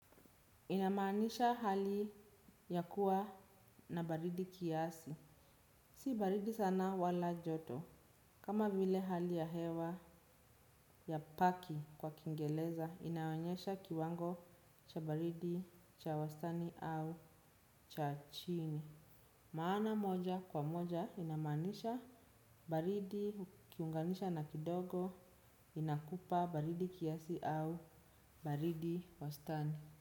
Inamaanisha hali ya kuwa na baridi kiasi, si baridi sana wala joto, kama vile hali ya hewa ya paki kwa kingeleza, inaonyesha kiwango cha baridi cha wastani au cha chini. Maana moja kwa moja inamaanisha baridi kiunganisha na kidogo inakupa baridi kiasi au baridi wastani.